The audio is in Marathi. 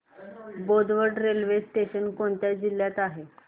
बोदवड रेल्वे स्टेशन कोणत्या जिल्ह्यात आहे